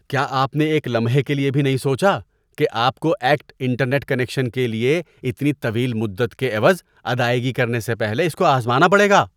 کیا آپ نے ایک لمحے کے لیے بھی نہیں سوچا کہ آپ کو "ایکٹ" انٹرنیٹ کنکشن کے لیے اتنی طویل مدت کے عوض ادائیگی کرنے سے پہلے اس کو آزمانا پڑے گا؟